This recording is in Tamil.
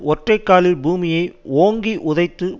ஒற்றை காலில் பூமியை ஓங்கி உதைத்து